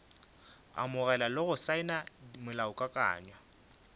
amogela le go saena molaokakanywa